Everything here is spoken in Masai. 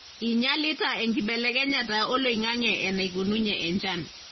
inyialita enkibelekenyata oloingange enaikununye enchan.